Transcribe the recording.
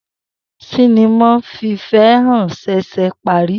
Sinima fifehan ṣẹṣẹ pari.